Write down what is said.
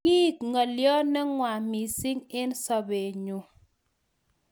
Kiek ngolyo ne ngwan mising eng sobennyu